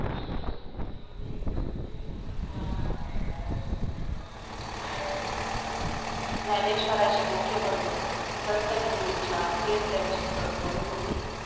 ज्ञानेश्वरांचे मोठे बंधू संत निवृत्तीनाथ हेच त्यांचे सद्गुरू होते